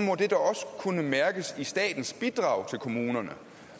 må det da også kunne mærkes i statens bidrag til kommunerne